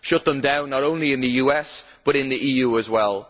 Shut them down not only in the US, but in the EU as well.